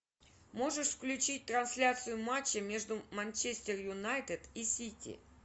можешь включить трансляцию матча между манчестер юнайтед и сити